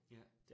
Ja